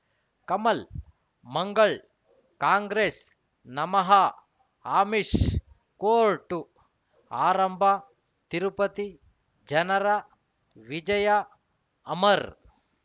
ಕಮಲ್ ಮಂಗಳ್ ಕಾಂಗ್ರೆಸ್ ನಮಃ ಅಮಿಷ್ ಕೋರ್ಟ್ ಆರಂಭ ತಿರುಪತಿ ಜನರ ವಿಜಯ ಅಮರ್